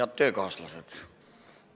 Head töökaaslased!